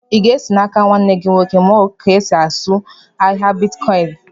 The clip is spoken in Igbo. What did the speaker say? Ị ga-esi n'áká nwanne gị nwoke muọ ka e sị azụ ahịa bịtkọin?